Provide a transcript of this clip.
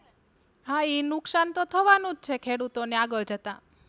હા ઈ નુકશાનતો થવાનું જ ને ખેડૂતો ને આગળ જતા.